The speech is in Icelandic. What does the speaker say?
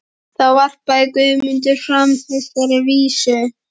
Þá varpaði Guðmundur fram þessari vísu